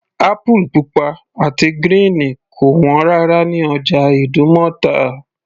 Apple pupa àti gírìn kò wọ́n rárá ní ọjà ìdúmọ̀tà